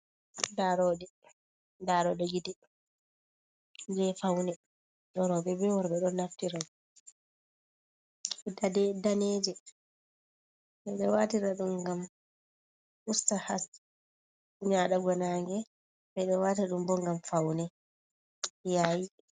Daroɗe. Daroɗe gite je faune roɓe be worɓe ɗo naftira, dade daneje, ɓeɗo watira ɗum gam usta has nyaɗugo nage, ɓeɗo wata ɗum bo gam faune yayi.